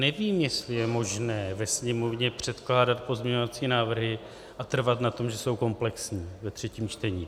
Nevím, jestli je možné ve Sněmovně předkládat pozměňovací návrhy a trvat na tom, že jsou komplexní, ve třetím čtení.